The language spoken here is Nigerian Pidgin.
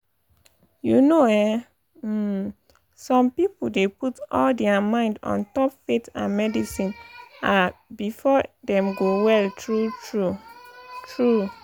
you know eh um some pipo dey put all dia mind ontop faith and medicine ah befor dem go well tru tru? tru?